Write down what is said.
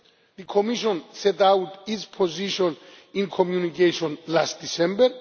The Commission set out its position in a Communication last December.